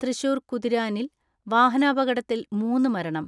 തൃശൂർ കുതിരാനിൽ വാഹനാപകടത്തിൽ മൂന്ന് മരണം.